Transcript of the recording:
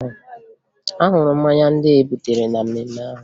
Ahụrụ m mmanya ndị e butere na mmemme ahụ